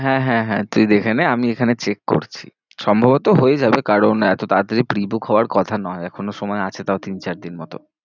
হ্যাঁ, হ্যাঁ, হ্যাঁ তুই দেখে নে আমি এখানে check করছি সম্ভবত হয়ে যাবে, কারণ এতো তাড়াতাড়ি pre-book হওয়ার কথা নয়, এখনও